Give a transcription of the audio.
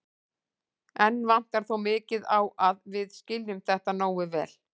Enn vantar þó mikið á að við skiljum þetta nógu vel.